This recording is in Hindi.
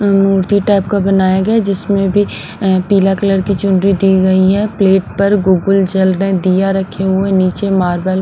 मूर्ति टाइप का बनाया गया जिसमें भी पीला कलर की चुंडी दी गई है प्लेट पर गुगुल जल रहे दिया रखे हुए नीचे मार्बल .